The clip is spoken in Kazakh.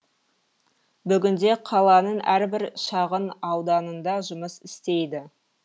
бүгінде қаланың әрбір шағын ауданында жұмыс істейді